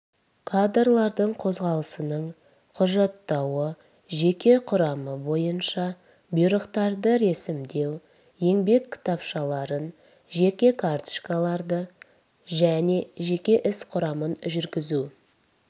кадрлардың қозғалысының құжаттауы жеке құрам бойынша бұйрықтарды ресімдеу еңбек кітапшаларын жеке карточкаларды және жеке іс құрамын жүргізу